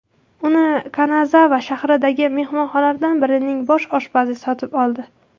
Uni Kanazava shahridagi mehmonxonalardan birining bosh oshpazi sotib oldi.